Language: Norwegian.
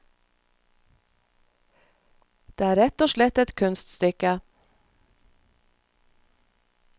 Det er rett og slett et kunststykke.